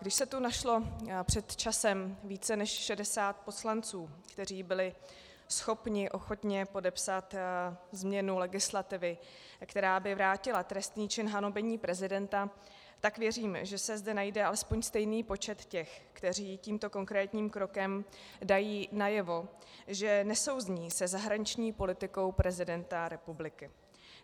Když se tu našlo před časem více než 60 poslanců, kteří byli schopni ochotně podepsat změnu legislativy, která by vrátila trestný čin hanobení prezidenta, tak věřím, že se zde najde alespoň stejný počet těch, kteří tímto konkrétním krokem dají najevo, že nesouznějí se zahraniční politikou prezidenta republiky.